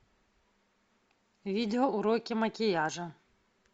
видео уроки макияжа